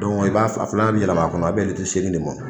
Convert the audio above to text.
Dɔnku i b'a a fila bɛ yɛlɛm'a kɔnɔ a bɛ bɛn litiri seegin de ma.